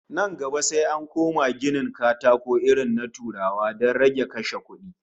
Nan gaba sai an koma yin ginin katakon irin na Turawa don rage kashe kudi